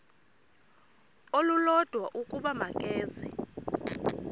olulodwa ukuba makeze